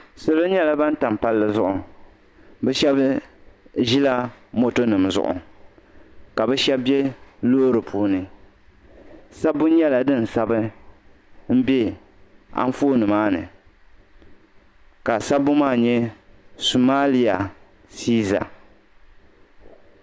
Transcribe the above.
salo nyɛla ban tam palli zuɣu bi shab ʒila moto nim zuɣu ka bi shab bɛ loori puuni sabbu nyɛla din sabi n bɛ Anfooni maa ni ka sabbu maa nyɛ sumaaliya siiza